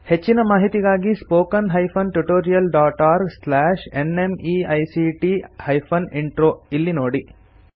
ಹೆಚ್ಚಿನ ಮಾಹಿತಿಗಾಗಿ spoken hyphen tutorial dot org slash NMEICT hyphen intro ಇಲ್ಲಿ ನೋಡಿ